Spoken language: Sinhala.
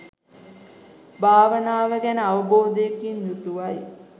භාවනාව ගැන අවබෝධයකින් යුතුව යි